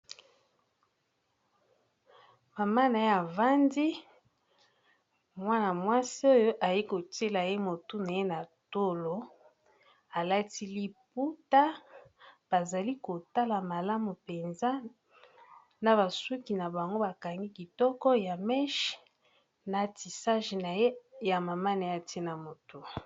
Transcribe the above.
Mama na ye avandi mwana-mwasi oyo aye kotiela ye motu na ye na tolo alati liputa bazali kotala malamu mpenza na basuki na bango bakangi kitoko ya meche na tisage naye ya mama naye atie ye na motu.